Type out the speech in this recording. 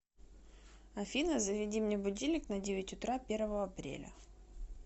афина заведи мне будильник на девять утра первого апреля